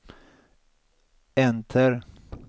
enter